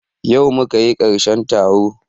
Yau muka yi karshen taro